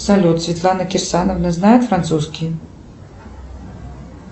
салют светлана кирсановна знает французский